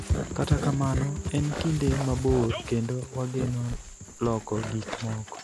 Kata kamano, en kinde mabor kendo wageno loko gik moko.